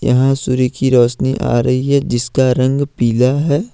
यहां सूर्य की रोशनी आ रही है जिसका रंग पीला है।